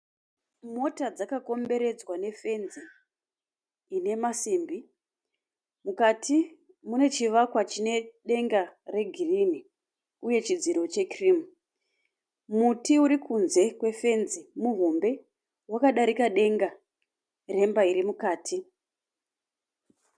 Mota dzakakomberedzwa nefenzi ine masimbi. Mukati mune chivakwa chine denga regirini uye chidziro chekirimu. Muti urikunze kwefenzi muhombe. Wakadarika denga remba irimukati.